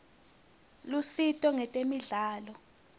lusito ngetemidlalo